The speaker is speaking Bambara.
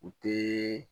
U tɛ